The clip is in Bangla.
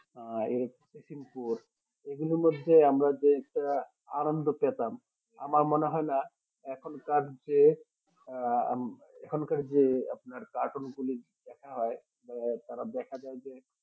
আহ এই fishing পুর এগুলির মধ্যে আমরা যেটা আনন্দ পেতাম আমার মনে হয় না আমার মনে হয় না এখনকার যে আহ এখনকার যে আপনার কাটুন গুলি দেখা হয় বা তারা দেখা যাই যে